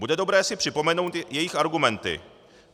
Bude dobré si připomenout jejich argumenty.